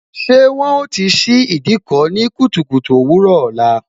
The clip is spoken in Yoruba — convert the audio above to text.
Ṣé wọn ó ti ṣí Ìdíkọ̀ ní kùtùkùtù òwúrò ọ̀la?